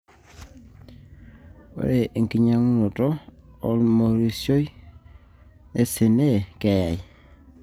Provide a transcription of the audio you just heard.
ore enkitanyanyukoto o-lmorioshi sna keyayai.